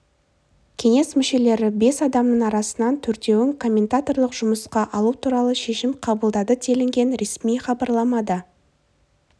кеңес мүшелері бес адамның арасынан төртеуін комментаторлық жұмысқа алу туралы шешім қабылдады делінген ресми іабарламада